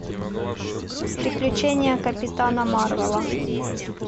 приключения капитана марвела